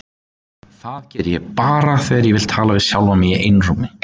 Það geri ég bara þegar ég vil tala við sjálfan mig í einrúmi.